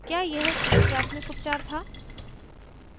क्या यह सही प्राथमिक उपचार था